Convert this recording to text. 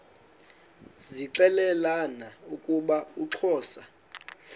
zixelelana ukuba uxhosa